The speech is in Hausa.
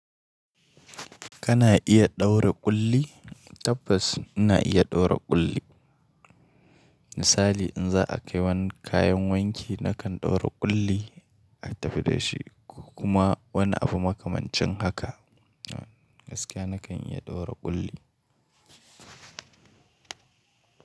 Kana iya ɗaura ƙulli? Tabbas ina iya ɗaura ƙulli. Misali in za a kai wani kayan wanki nakan ɗaura ƙulli a tafi da shi kuma wani abu makamancin haka. Gaskiya nakan iya ɗaura ƙulli.